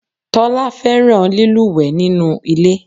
Tólá fẹ́ràn lílúwèé nínú ilé